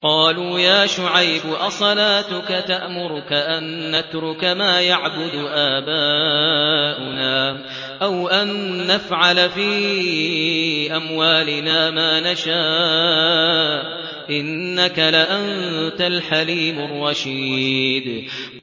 قَالُوا يَا شُعَيْبُ أَصَلَاتُكَ تَأْمُرُكَ أَن نَّتْرُكَ مَا يَعْبُدُ آبَاؤُنَا أَوْ أَن نَّفْعَلَ فِي أَمْوَالِنَا مَا نَشَاءُ ۖ إِنَّكَ لَأَنتَ الْحَلِيمُ الرَّشِيدُ